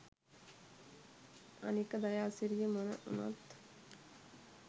අනික දයාසිරියමොන උනත්